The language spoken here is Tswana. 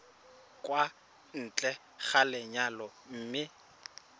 kwa ntle ga lenyalo mme